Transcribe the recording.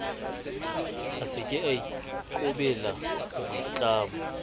a seke a ikobela boitlamo